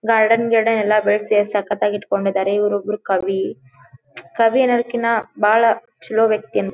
Garden ಗಿರ್ಡೆನ್ ಎಲ್ಲ ಬೆಳ್ಸಿ ಎಷ್ಟು ಸಕ್ಕತ್ ಆಗಿ ಇಟ್ಟಿಕೊಂಡಿದ್ದಾರೆ ಇವರು ಒಬ್ರು ಕವಿ ಕವಿ ಅನ್ನಕಿನ ಬಾಳ ಚಲೋ ವ್ಯಕ್ತಿ.